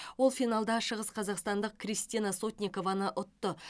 ол финалда шығысқазақстандық кристина сотникованы ұтты